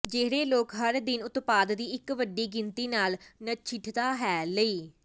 ਜਿਹੜੇ ਲੋਕ ਹਰ ਦਿਨ ਉਤਪਾਦ ਦੀ ਇੱਕ ਵੱਡੀ ਗਿਣਤੀ ਨਾਲ ਨਜਿੱਠਦਾ ਹੈ ਲਈ